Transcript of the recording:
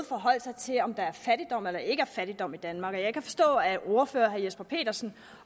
forholdt sig til om der er fattigdom eller der ikke er fattigdom i danmark jeg kan forstå at ordføreren herre jesper petersen